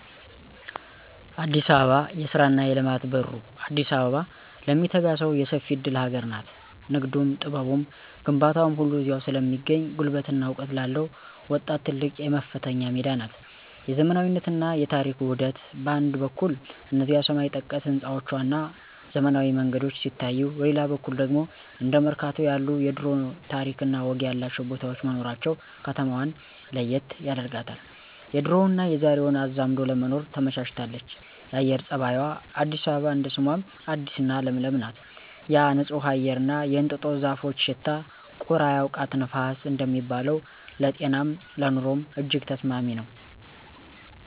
አዲስ አበባ የስራና የልማት በሩ፦ አዲስ አበባ ለሚተጋ ሰው የሰፊ እድል ሀገር ናት። ንግዱም፣ ጥበቡም፣ ግንባታውም ሁሉ እዚያው ስለሚገኝ፣ ጉልበትና እውቀት ላለው ወጣት ትልቅ የመፈተኛ ሜዳ ናት። የዘመናዊነትና የታሪክ ውህደት፦ በአንድ በኩል እነዚያ ሰማይ ጠቀስ ህንፃዎችና ዘመናዊ መንገዶች ሲታዩ፣ በሌላ በኩል ደግሞ እንደ መርካቶ ያሉ የድሮ ታሪክና ወግ ያላቸው ቦታዎች መኖራቸው ከተማዋን ለየት ያደርጋታል፤ የድሮውንና የዛሬውን አዛምዶ ለመኖር ትመቻለች። የአየር ፀባይዋ፦ አዲስ አበባ እንደ ስሟም አዲስና ለምለም ናት። ያ ንጹህ አየርና የእንጦጦ ዛፎች ሽታ፣ "ቁር አያውቃት ንፋስ" እንደሚባለው፣ ለጤናም ለኑሮም እጅግ ተስማሚ ነው